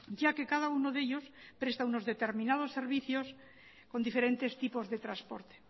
ya que cada uno de ellos presta unos determinados servicios con diferentes tipos de transporte